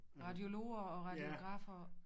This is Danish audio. Radiologer og radiografer